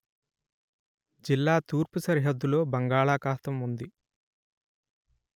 జిల్లా తూర్పు సరిహద్దులో బంగాళాఖాతం ఉంది